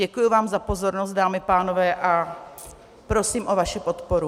Děkuji vám za pozornost, dámy a pánové, a prosím o vaši podporu.